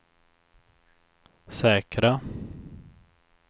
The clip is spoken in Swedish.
säkra